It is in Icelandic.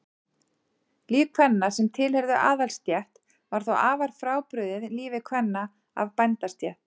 Líf kvenna sem tilheyrðu aðalsstétt var þó afar frábrugðið lífi kvenna af bændastétt.